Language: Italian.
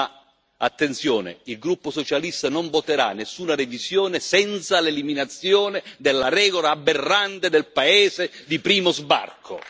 Ma attenzione il gruppo socialista non voterà nessuna revisione senza l'eliminazione della regola aberrante del paese di primo sbarco